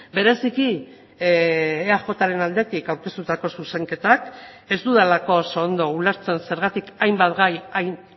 bereziki eajren aldetik aurkeztutako zuzenketak ez dudalako oso ondo ulertzen zergatik hainbat gai hain